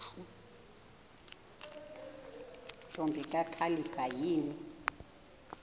ntombi kakhalipha yini